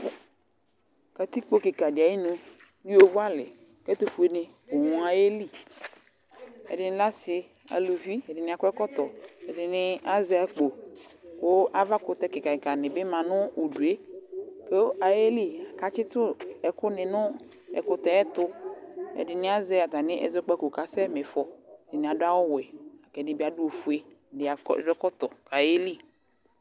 Katikpo kɩka dɩ ayinu nʋ yovoalɩ kʋ ɛtʋfuenɩ bʋ ayeli Ɛdɩnɩ lɛ asɩ, aluvi, ɛdɩnɩ akɔ ɛkɔtɔ, ɛdɩnɩ azɛ akpo kʋ avakʋtɛ kɩka kɩkanɩ bɩ la nʋ udu yɛ kʋ ayeli kʋ atsɩtʋ ɛkʋnɩ nʋ ɛkʋtɛ yɛ tʋ, ɛdɩnɩ azɛ atamɩ ɛzɔkpako kʋ asɛma ɩfɔ Ɛdɩnɩ adʋ awʋwɛ la kʋ ɛdɩ bɩ adʋ ofue, ɛdɩ akɔ adʋ ɛkɔtɔ kʋ ayeli